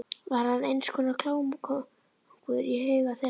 Var hann eins konar klámkóngur í huga þeirra?